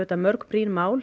mörg brýn mál